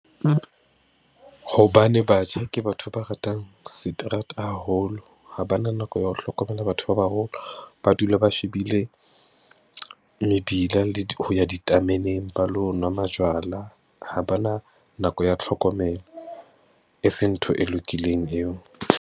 Hobane batjha ke batho ba ratang seterata haholo, ha ba na nako ya ho hlokomela batho ba baholo, ba dula ba shebile mebila le ho ya ditameneng, ba lo nwa majwala ha ba na nako ya tlhokomelo. E se ntho e lokileng eo.